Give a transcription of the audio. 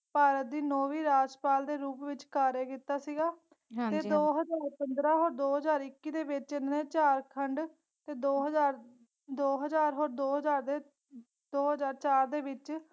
ਭਾਰਤ ਦਿ ਨੌਵੀਂ ਰਾਜ੍ਪਾਲ ਦੇ ਰੂਪ ਵਿਚ ਕਾਰਿਆ ਕੀਤਾ ਸੀਗਾ ਹਾਂਜੀ ਤੇ ਦੋ ਹਜ਼ਾਰ ਪੰਦਰਾ ਹੋਰ ਦੋ ਹਾਜ਼ਰ ਇੱਕੀ ਦੇ ਵਿਚ ਇੰਨੇ ਝਾਰਖੰਡ ਤੇ ਦੋ ਹਾਜ਼ਾਰ ਦੋ ਹਜ਼ਾਰ ਦੇ ਹੋਰ ਦੋ ਹਾਜ਼ਰ ਚਾਰ ਦੇ ਵਿਚ।